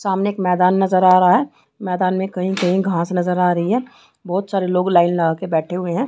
सामने एक मैदान नजर आ रहा है मैदान में कहीं-कहीं घास नजर आ रही है बहुत सारे लोग लाइन लगा के बैठे हुए हैं।